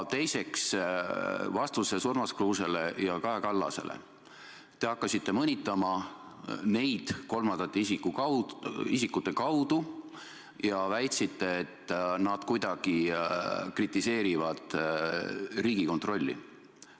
Teiseks, vastuses Urmas Kruusele ja Kaja Kallasele te hakkasite neid kolmandate isikute kaudu mõnitama ja väitsite, et nad kuidagi kritiseerivad Riigikontrolli.